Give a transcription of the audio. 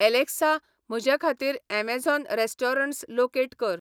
Alexa म्हजेखातीर Amazon restaurants locate कर